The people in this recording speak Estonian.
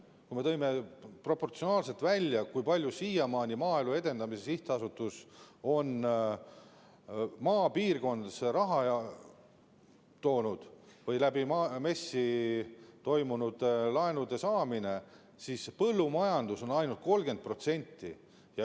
Kui me tõime proportsionaalselt välja, kui palju siiamaani Maaelu Edendamise Sihtasutus on maapiirkondadesse raha toonud või kuidas on läbi MES-i laenu saamisega, siis põllumajandus on ainult 30%.